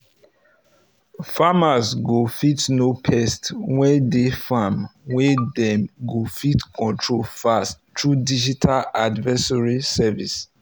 farmers go fit know pest wey dey farm wey dem go fit control fast through digital advisory services